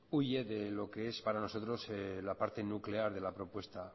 huye de lo que es para nosotros la parte nuclear de la propuesta